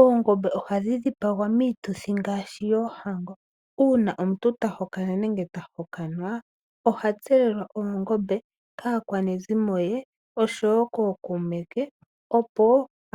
Oongombe oha dhi dhipagwa miituthi ngaashi yoohango, uuna omuntu ta hokana nenge tahokanwa oha tselelwa oongombe kaakwanezomo ye oshowo kookuume ke opo